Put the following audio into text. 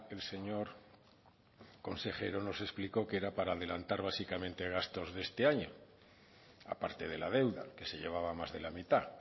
el señor consejero nos explicó que era para adelantar básicamente gastos de este año aparte de la deuda que se llevaba más de la mitad